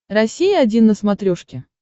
россия один на смотрешке